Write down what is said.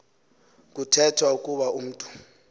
kuthethwa ukuba umntu